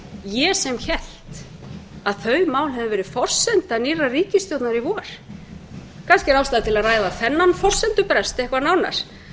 ég sem hélt að þau mál hefðu verið forsenda nýrrar ríkisstjórnar í vor kannski er ástæða til að ræða þennan forsendubrest eitthvað nánar það